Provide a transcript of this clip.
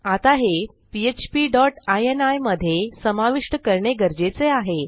आता हे PHP dot ini मधे समाविष्ट करणे गरजेचे आहे